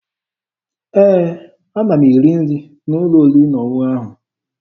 Ee, ana m eri nri n'ụlọ oriri na ọṅụṅụ ahụ.